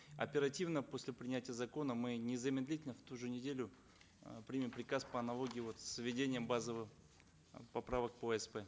оперативно после принятия закона мы незамедлительно в ту же неделю э примем приказ по аналогии вот с введением базовых э поправок по асп